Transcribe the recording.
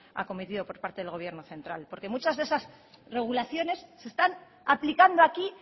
acometido por parte del gobierno central porque muchas de esas regulaciones se están aplicando aquí